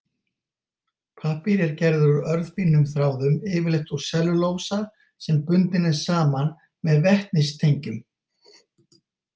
Pappír er gerður úr örfínum þráðum, yfirleitt úr sellulósa sem bundinn er saman með vetnistengjum.